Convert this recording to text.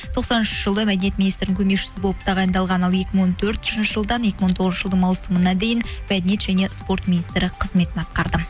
тоқсан үшінші жылы мәдениет министрінің көмекшісі болып тағайындалған ал екі мың он төртінші жылдан екі мың он тоғызыншы жылдың маусымына дейін мәдениет және спорт министрі қызметін атқарды